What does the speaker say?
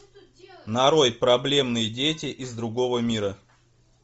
нарой проблемные дети из другого мира